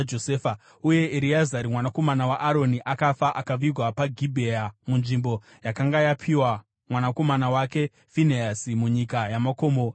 Uye Ereazari mwanakomana waAroni akafa, akavigwa paGibhea munzvimbo yakanga yapiwa mwanakomana wake Finehasi, munyika yamakomo yaEfuremu.